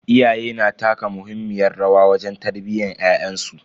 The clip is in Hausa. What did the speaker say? Iyaye na taka muhimmiyar rawa wajen tarbiyyan ƴaƴansu.